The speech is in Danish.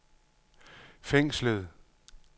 fængslet